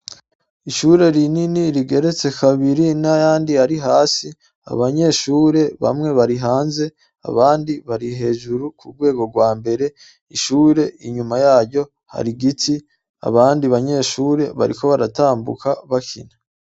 Ishure rinini rigeretse kabiri, n'ayandi ari hasi, abanyeshure bamwe bari hanze abandi bari hejuru ku rwego rwa mbere. Ishure inyuma yaryo hari igiti, abandi banyeshure bariko baratambuka bakina.